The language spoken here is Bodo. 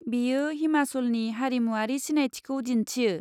बेयो हिमाचलनि हारिमुआरि सिनायथिखौ दिन्थियो।